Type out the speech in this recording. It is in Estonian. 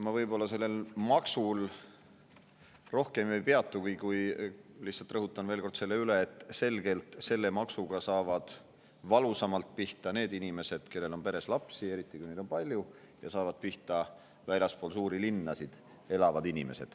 Ma võib-olla sellel maksul rohkem ei peatu, kuid lihtsalt rõhutan veel kord selle üle, et selgelt saavad selle maksuga valusamalt pihta need inimesed, kellel on peres lapsi, eriti kui neid on palju, ja inimesed, kes elavad väljaspool suuri linnasid.